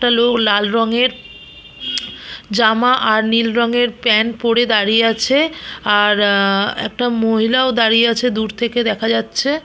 একটা লোক লাল রং এর জামা আর নীল রং এর প্যান্ট পরে দাঁড়িয়ে আছে আর আ একটা মহিলাও দাঁড়িয়ে আছে দূর থেকে দেখা যাচ্ছে।